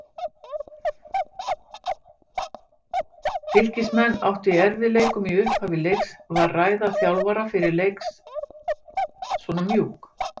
Fylkismenn áttu í erfiðleikum í upphafi leiks, var ræða þjálfara fyrir leiks svona mjúk?